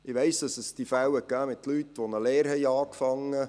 Ich weiss, dass es Fälle von Leuten gab, die eine Lehre begonnen haben.